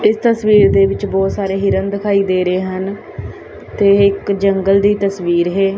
ਇਸ ਤਸਵੀਰ ਦੇ ਵਿੱਚ ਬਹੁਤ ਸਾਰੇ ਹਿਰਨ ਦਿਖਾਈ ਦੇ ਰਹੇ ਹਨ ਤੇ ਇੱਕ ਜੰਗਲ ਦੀ ਤਸਵੀਰ ਹੈ।